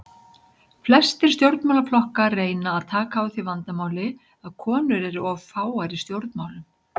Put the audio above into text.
Flestir stjórnmálaflokkar reyna að taka á því vandamáli að konur eru of fáar í stjórnmálum.